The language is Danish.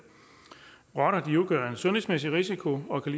rotter udgør en sundhedsmæssig risiko og kan